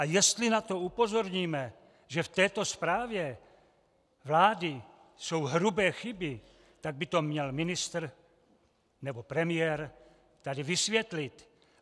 A jestli na to upozorníme, že v této zprávě vlády jsou hrubé chyby, tak by to měl ministr nebo premiér tady vysvětlit.